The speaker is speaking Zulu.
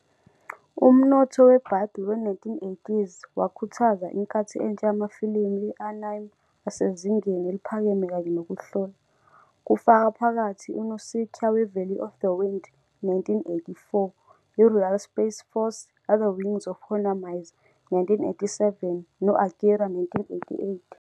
Umnotho we-bubble we-1980s wakhuthaza inkathi entsha yamafilimu e-anime asezingeni eliphakeme kanye nokuhlola, kufaka phakathi "uNausicaä we-Valley of the Wind", 1984, "iRoyal Space Force- The Wings of Honnêamise", 1987, no- "Akira", 1988.